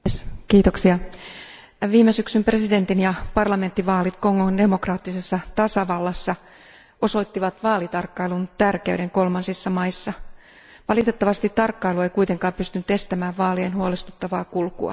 Arvoisa puhemies, viime syksyn presidentin ja parlamenttivaalit Kongon demokraattisessa tasavallassa osoittivat vaalitarkkailun tärkeyden kolmansissa maissa. Valitettavasti tarkkailu ei kuitenkaan pystynyt estämään vaalien huolestuttavaa kulkua.